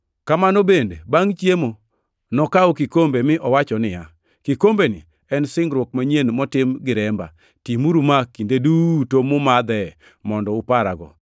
Kamano bende bangʼ chiemo nokawo kikombe, mi owacho niya, “Kikombeni en singruok manyien motim gi remba; timuru ma, kinde duto mumadhee, mondo uparago.”